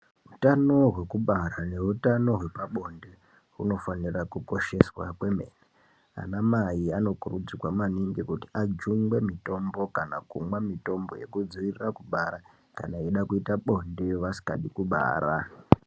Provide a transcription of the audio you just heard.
Utano hwekubara neutano hwepabonde hunofanire kukosheswa kwemene ana mai anokurudzirwa maningi kuti ajungwe mutombo kana kumwe mutombo yekudziirire kubara kana eida kuita bonde vasikadi kubara.